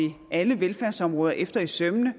alle velfærdsområder efter i sømmene og